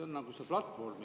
See on nagu see platvorm …